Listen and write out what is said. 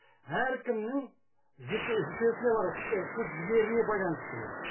әркімнің бар күш жігеріне байланысты бұл